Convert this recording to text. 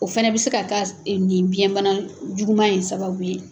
O fɛnɛ bɛ se ka k'a nin biyɛn bana juguman in sababu ye.